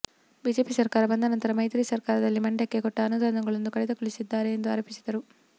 BJP ಸರ್ಕಾರ ಬಂದ ನಂತರ ಮೈತ್ರಿ ಸರ್ಕಾರದಲ್ಲಿ ಮಂಡ್ಯಕ್ಕೆ ಕೊಟ್ಟ ಅನುದಾನಗಳನ್ನು ಕಡಿತಗೊಳಿಸಿದ್ದಾರೆ ಎಂದು ಆರೋಪಿಸಿದರು